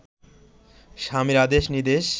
স্বামীর আদেশ নির্দেশ